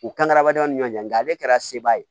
U kan ka hadamadenw ni ɲɔn cɛ nka ale kɛra seba ye